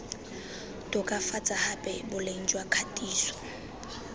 tokafatsa gape boleng jwa kgatiso